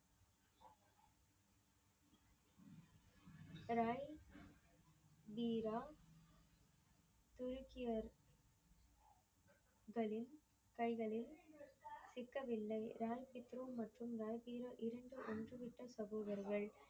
ராணி தீரா துருக்கியர் களின் கைகளில் சிக்கவில்லை ரன்திட்ரோ மற்றும் வல்தீரோ இரண்டு ஒன்று விட்ட சகோதரர்கள்.